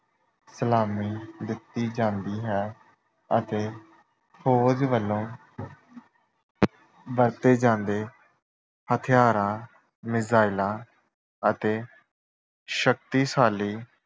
ਸਲਾਮੀ ਦਿੱਤੀ ਜਾਂਦੀ ਹੈ ਅਤੇ ਫੌਜ ਵੱਲੋ ਵਰਤੇ ਜਾਂਦੇ ਹਥਿਆਰਾਂ, ਮਿਜ਼ਾਇਲਾਂ ਅਤੇ ਸ਼ਕਤੀਸ਼ਾਲੀ